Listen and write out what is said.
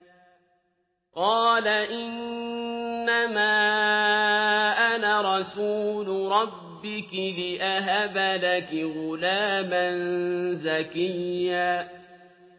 قَالَ إِنَّمَا أَنَا رَسُولُ رَبِّكِ لِأَهَبَ لَكِ غُلَامًا زَكِيًّا